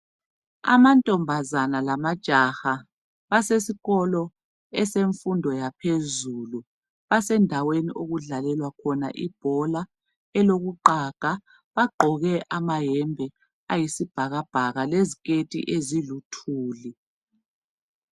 Amantombazane lamajaha asesikolo esemfundo yaphezulu asendaweni okudlalelwa khona ibhola elokuqaga. Bagqoke amayembe ayisibhakabhaka leziketi eziluthuli.